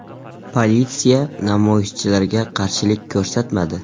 Politsiya namoyishchilarga qarshilik ko‘rsatmadi.